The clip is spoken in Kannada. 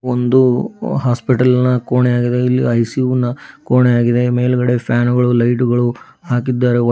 ಒಂದು ಹಾಸ್ಪಿಟಲ್ ನ ಕೋಣೆಯಾಗಿದೆ ಇಲ್ಲಿ ಐಸಿ_ಯು ನ ಕೋಣೆಯಾಗಿದೆ ಮೇಲ್ಗಡೆ ಫ್ಯಾನ್ ಗಳು ಲೈಟು ಗಳು ಹಾಕಿದ್ದಾರೆ.